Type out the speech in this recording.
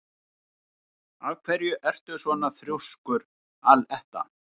Af hverju ertu svona þrjóskur, Aletta?